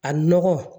A nɔgɔ